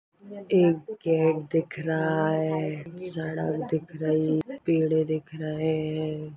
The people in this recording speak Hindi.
एक पेड़ दिख रहा है सड़क दिख रही है पेड़े दिख रहे है।